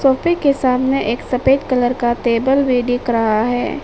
सोफे के सामने एक सफेद कलर का टेबल भी दिख रहा है।